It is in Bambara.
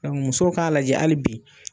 musow k'a lajɛ hali bi.